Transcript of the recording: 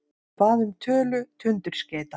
Hann bað um tölu tundurskeyta.